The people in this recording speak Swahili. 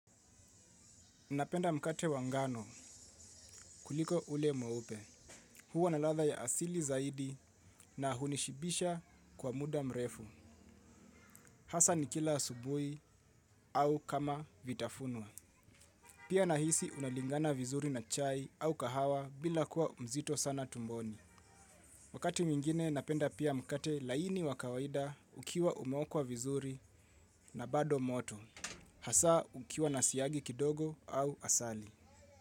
Napenda mkate wa ngano kuliko ule mweupe. Huwa na ladha ya asili zaidi na hunishibisha kwa muda mrefu. Hasa nikila asubuhi au kama vitafunwa. Pia nahisi unalingana vizuri na chai au kahawa bila kuwa mzito sana tumboni. Wakati mwingine napenda pia mkate laini wa kawaida ukiwa umeokwa vizuri na bado moto. Hasa ukiwa nasiagi kidogo au asali.